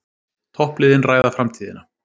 Toppliðin ræða framtíðina